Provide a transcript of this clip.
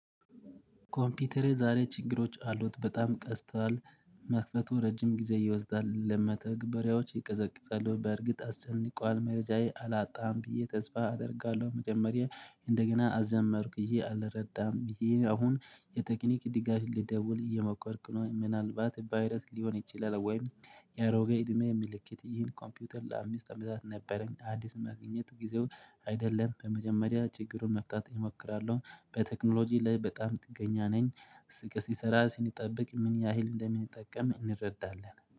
ኮምፒተሬ ዛሬ ችግሮች አሉት በጣም ቀስቷል። መክፈቱ ረጅም ጊዜ ይወስዳል ለመተግበሪያዎች ይቀዘቅዘሉ በእርግጥ አስጨንቋል መረጃዬ አላጣም ብዬ ተስፋ አደርጋለሁ። መጀመሪያ እንደገና አዘመርኩ ይሄ አልረዳም ብዬ አሁን የቴክኒክ ድጋፍ ልደውል እየሞከርኩ ነው። ምናልባት ቫይረስ ሊሆን ይችላል ወይም። የአሮጌ እድሜ ምልክት ይህን ኮምፒውተር ለአምስት አመታት ነበረኝ። አዲስ መግኘት ጊዜው አይደለም በመጀመሪያ ችግሩን መፍጣት እሞክራለሁ። በቴክኖሎጂ ላይ በጣም ጥገኛ ነኝ። ስቅስ ይሰራል ሲጠብቅ ምን ያህል እንደምንጠቀም እንረዳለን